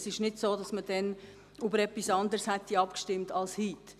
Es ist nicht so, dass man damals über etwas anderes abgestimmt hätte als heute.